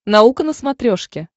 наука на смотрешке